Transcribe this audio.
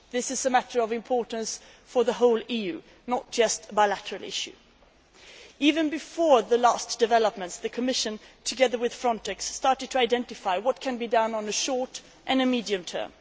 This is a matter of importance for the whole EU, not just a bilateral issue. Even before the last developments, the Commission, together with Frontex, started to identify what can be done in the short and medium term.